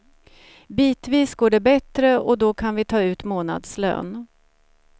Bitvis går det bättre och då kan vi ta ut månadslön.